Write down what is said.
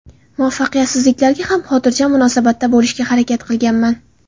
Muvaffaqiyatsizliklarga ham xotirjam munosabatda bo‘lishga harakat qilganman.